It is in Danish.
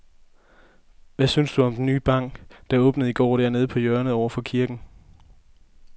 Hvad synes du om den nye bank, der åbnede i går dernede på hjørnet over for kirken?